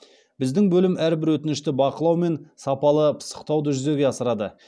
біздің бөлім әрбір өтінішті бақылау мен сапалы пысықтауды жүзеге асырады